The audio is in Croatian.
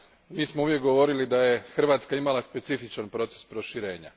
Mi smo uvijek govorili da je Hrvatska imala specifičan proces proširenja.